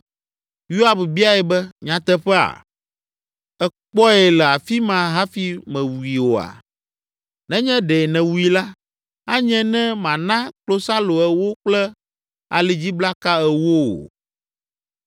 Yoab biae be, “Nyateƒea? Èkpɔe le afi ma hafi mèwui oa? Nenye ɖe nèwui la, anye ne mana klosalo ewo kple alidziblaka ewo wò.”